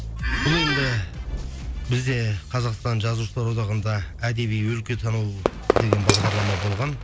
бұл енді бізде қазақстан жазушылар одағында әдеби өлкетану деген бағдарлама болған